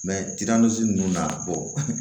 ninnu na